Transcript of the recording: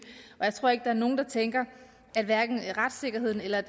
jeg tror ikke er nogen der tænker at retssikkerheden eller